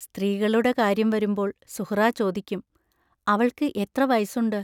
സ്ത്രീകളുടെ കാര്യം വരുമ്പോൾ സുഹ്റാ ചോദിക്കും: അവൾക്ക് എത്ര വയസ്സുണ്ട്.